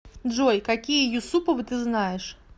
джой какие юсуповы ты знаешь